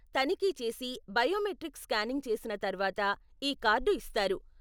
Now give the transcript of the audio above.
తనిఖీ చేసి, biometric scanning చేసిన తర్వాత ఈ కార్డు ఇస్తారు.